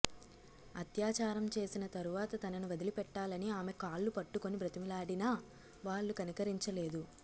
అత్యాచారం చేసిన తరువాత తనను వదిలిపెట్టాలని ఆమె కాళ్లు పట్టుకుని బతిమిలాడినా వాళ్లు కనికరించలేదు